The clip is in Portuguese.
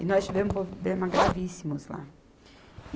E nós tivemos problema gravíssimos lá.